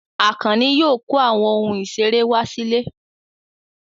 Àkànní yóò kó àwọn ohun ìṣeré wá sílé.